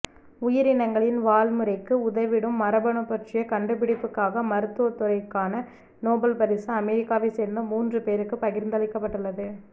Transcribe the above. உயிரினங்களில் வாழ்முறைக்கு உதவிடும் மரபணு பற்றிய கண்டுபிடிப்புக்காக மருத்துவ துறைக்கான நோபல் பரிசு அமெரிக்காவை சேர்ந்த மூன்று பேருக்கு பகிர்ந்தளிக்கப்பட்டுள்ளது